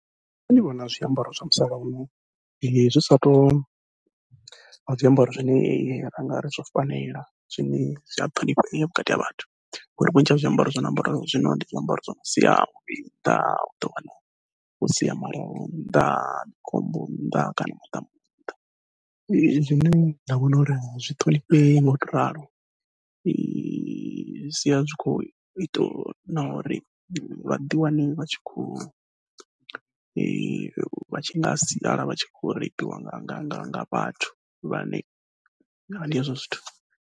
Nṋe ndi vhona zwiambaro zwa musalauno zwi sa tou vha zwiambaro zwine ra ngari zwo fanela zwine zwi a ṱhonifhea vhukati ha vhathu, ngori vhunzhi ha zwiambaro zwi no ambariwa zwino ndi zwiambaro zwi no sia muvhili nnḓa uḓo wana o sia nnḓa mukombo nnḓa kana muḓamu nnḓa zwi zwine nda vhona uri a zwi ṱhonifhei ngau to ralo zwi sia zwi kho ita na uri vhaḓi wane vha tshi khou vha tshi nga sala vha tshi khou reipiwa nga nga nga nga vhathu vhane vha ndi hezwo zwithu.